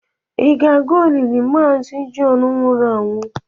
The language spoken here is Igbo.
ị ga-aga olili maazi John wuru anwu?